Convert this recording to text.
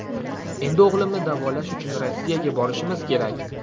Endi o‘g‘limni davolash uchun Rossiyaga borishimiz kerak.